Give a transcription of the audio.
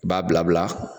I b'a bila bila